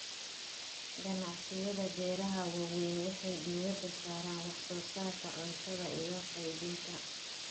Ganacsiyada beeraha waaweyn waxay diiradda saaraan wax soo saarka cuntada iyo qaybinta.